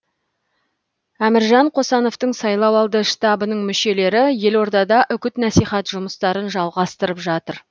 әміржан қосановтың сайлауалды штабының мүшелері елордада үгіт насихат жұмыстарын жалғастырып жатыр